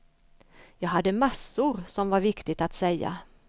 Jag hade massor som var viktigt att säga.